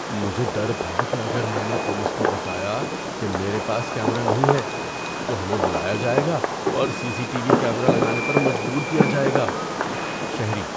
مجھے ڈر تھا کہ اگر میں نے پولیس کو بتایا کہ میرے پاس کیمرا نہیں ہے تو ہمیں بلایا جائے گا اور C C T V camera لگانے پر مجبور کیا جائے گا۔ (شہری)